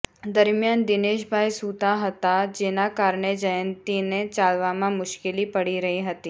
દરમિયાન દિનેશભાઇ સૂતા હતા જેના કારણે જયંતિને ચાલવામાં મુશ્કેલી પડી રહી હતી